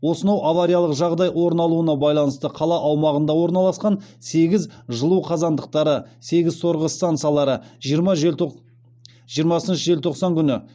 осынау авариялық жағдай орын алуына байланысты қала аумағында орналасқан сегіз жылу қазандықтары сегіз сорғы стансалары жиырмасыншы желтоқсан күні